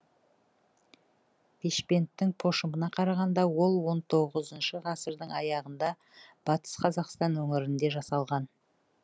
бешпенттің пошымына қарағанда ол он тоғызыншы ғасырдың аяғында батыс қазақстан өңірінде жасалған